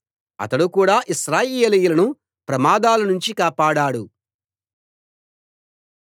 అతడు కూడా ఇశ్రాయేలీయులను ప్రమాదాల నుంచి కాపాడాడు